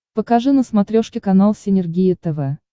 покажи на смотрешке канал синергия тв